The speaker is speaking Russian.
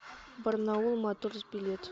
барнаул моторс билет